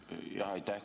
Aitäh!